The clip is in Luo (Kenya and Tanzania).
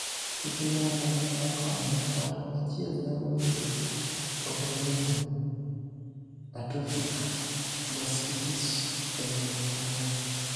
Ekinde mamoko, mokalo ng`ato achiel nyalo bedo gi autoimmune atrophic gastritis e anyuola.